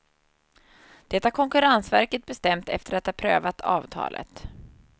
Det har konkurrensverket bestämt efter att ha prövat avtalet.